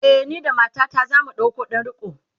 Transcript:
e, ni da matata zamu ɗauko ɗan riko